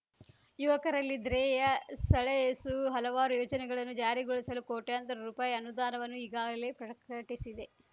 ಯುವಕರನಲ್ಲಿ ದ್ರೇಯೆ ಸೆಳೆಯಸು ಹಲವಾರು ಯೋಜನೆಗಳನ್ನು ಜಾರಿಗೋಳಿಸಲು ಕೋಟ್ಯಾಂತರ ರೂಪಾಯಿ ಅನುದಾನವನ್ನು ಈಗಾಗಲೇ ಪ್ರಕ್ರಟಿಸಿದೆ